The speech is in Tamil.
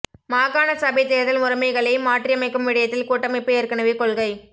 மாகாண சபைத் தேர்தல் முறைமைகளை மாற்றியமைக்கும் விடயத்தில் கூட்டமைப்பு ஏற்கனவே கொள்கை